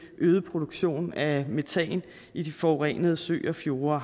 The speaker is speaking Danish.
øget produktion af metan i de forurenede søer og fjorde og